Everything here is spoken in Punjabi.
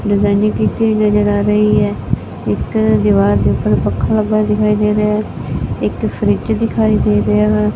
ਡਿਜਾਇਨਿੰਗ ਕੀਤੀ ਹੋਈ ਨਜ਼ਰ ਆ ਰਹੀ ਹੈ ਇੱਕ ਦੀਵਾਰ ਦੇ ਉੱਪਰ ਪੱਖਾ ਲੱਗਿਆ ਹੋਇਆ ਦਿਖਾਈ ਦੇ ਰਿਹਾ ਹੈ ਇੱਕ ਫਰਿਜ ਦਿਖਾਈ ਦੇ ਰਿਹਾ ਹੈ।